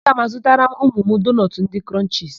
Aga m azụtara ụmụ m doonọtụ ndị Krọnchisi.